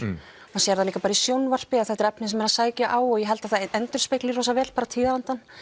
maður sér það líka bara í sjónvarpi að þetta er efni sem er að sækja á og ég held að það endurspegli vel tíðarandann